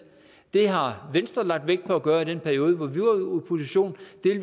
det har venstre lagt vægt på at gøre i den periode hvor